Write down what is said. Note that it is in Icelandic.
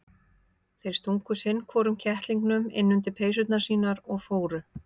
Þeir stungu sinn hvorum kettlingnum inn undir peysurnar sínar og fóru.